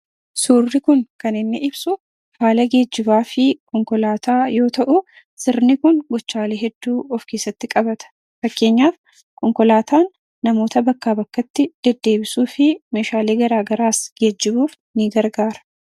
Suurri kun kan inni ibsu haala geejjibaa fi konkolaataa yoo ta'u, sirni kun gochaalee hedduu of keessatti qabata. Fakkeenyaaf, konkolaataan namoota bakkaa bakkatti deddeebisuu fi meeshaalee garaa garaas geejjibuuf ni gargaara.